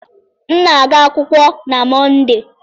M na-aga akwụkwọ na Mọnde